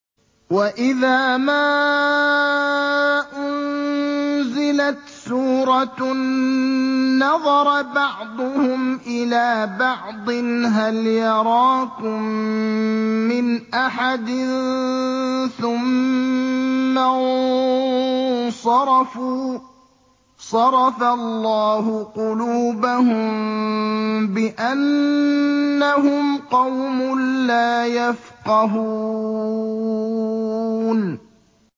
وَإِذَا مَا أُنزِلَتْ سُورَةٌ نَّظَرَ بَعْضُهُمْ إِلَىٰ بَعْضٍ هَلْ يَرَاكُم مِّنْ أَحَدٍ ثُمَّ انصَرَفُوا ۚ صَرَفَ اللَّهُ قُلُوبَهُم بِأَنَّهُمْ قَوْمٌ لَّا يَفْقَهُونَ